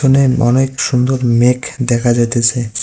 অনেক সুন্দর মেঘ দেখা যাইতাছে।